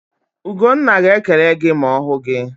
Ugonna ga-ekele gị ma ọ hụ gị.